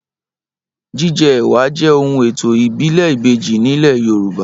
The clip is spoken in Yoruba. Jíjẹ ẹwà jẹ ohun ètò ìbílè ìbejí ní ilé Yorùbá